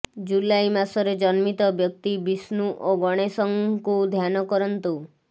ଜୁଲାଇ ମାସରେ ଜନ୍ମିତ ବ୍ୟକ୍ତି ବିଷ୍ଣୁ ଓ ଗଣେଶଙ୍କୁ ଧ୍ୟାନ କରନ୍ତୁ